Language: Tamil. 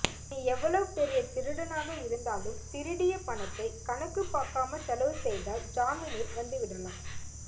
நீ எவ்ளவ் பெரிய திருடனாக இருந்தாலும் திருடிய பணத்தை கணக்கு பார்க்காம செலவு செய்தால் ஜாமீனில் வந்து விடலாம்